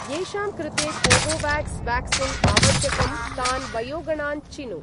येषां कृते Covovax vaccine आवश्यकं तान् वयोगणान् चिनु।